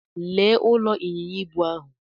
Lee ụlọ ịnyịnya ibu ahụ.